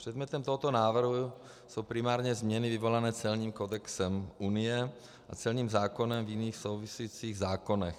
Předmětem tohoto návrhu jsou primárně změny vyvolané celním kodexem Unie a celním zákonem v jiných souvisejících zákonech.